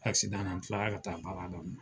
la n tilara ka taa baara